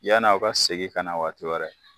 Yanaw ka segin ka na waati wɛrɛ.